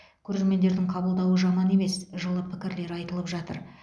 көрермендердің қабылдауы жаман емес жылы пікірлер айтылып жатыр